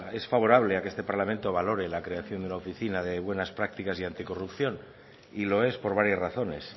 es favorable a que este parlamento valore la creación de una oficina de buenas prácticas y anticorrupción y lo es por varias razones